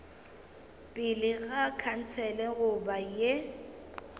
pele ga khansele goba ye